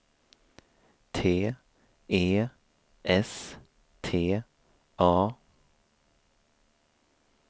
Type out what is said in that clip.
T E S T A